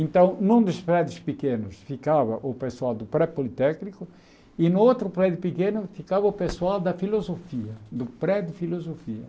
Então, num dos prédios pequenos ficava o pessoal do pré-politécnico e no outro prédio pequeno ficava o pessoal da filosofia, do pré de filosofia.